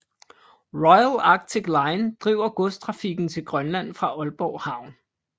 Royal Arctic Line driver godstrafikken til Grønland fra Aalborg Havn